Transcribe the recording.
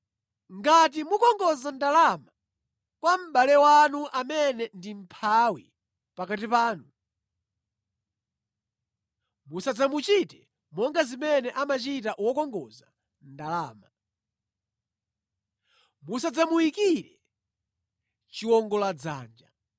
“Ngati mukongoza ndalama kwa mʼbale wanu amene ndi mʼmphawi pakati panu, musadzamuchite monga zimene amachita wokongoza ndalama. Musadzamuyikire chiwongoladzanja.